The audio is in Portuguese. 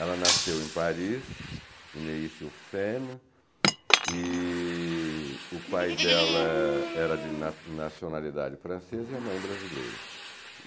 Ela nasceu em Paris, e o pai dela era de na nacionalidade francesa e a mãe brasileira.